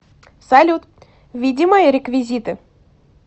салют введи мои реквизиты